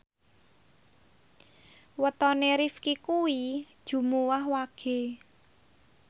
wetone Rifqi kuwi Jumuwah Wage